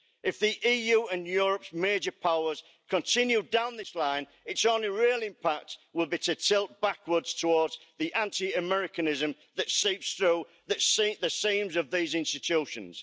If the EU and Europe's major powers continue down this line, its only real impact will be to tilt backwards towards the anti Americanism that seeps through the seams of these institutions.